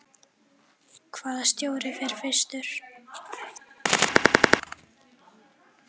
Hvaða stjóri fer fyrstur?